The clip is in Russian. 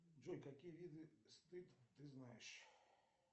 джой какие виды стыд ты знаешь